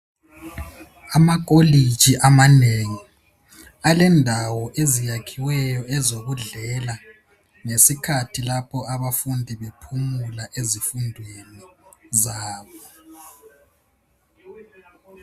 Amakolitshi amanengi alendawo eziyakhiweyo ezokudlela, ngesikhathi lapho abafundi bephumula ezifundweni zabo.